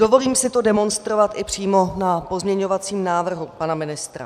Dovolím si to demonstrovat i přímo na pozměňovacím návrhu pana ministra.